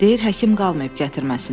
Deyir həkim qalmayıb gətirməsinlər.